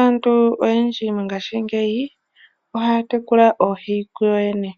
Aantu oyendji mongashingeyi ohaya tekula oohi kuyoyene,